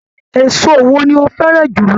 Èso wo ni o fẹràn jùlọ?